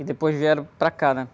E depois vieram para cá, né?